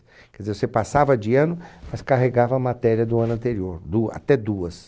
Quer dizer, você passava de ano, mas carregava a matéria do ano anterior, du até duas.